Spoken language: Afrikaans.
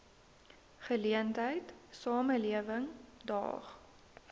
geleentheid samelewing daag